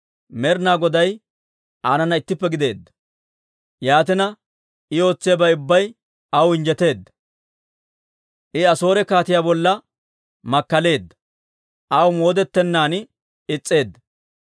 Med'ina Goday aanana ittippe gideedda; yaatina I ootsiyaabay ubbay aw injjeteedda. I Asoore kaatiyaa bolla makkaleedda; aw moodettenaan is's'eedda.